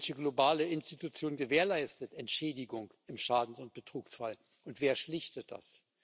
Welche globale Institution gewährleistet eine Entschädigung im Schadens oder Betrugsfall, und wer schlichtet das?